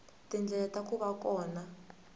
tindlela ta ku va kona